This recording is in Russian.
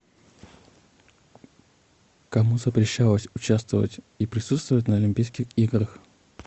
кому запрещалось участвовать и присутствовать на олимпийских играх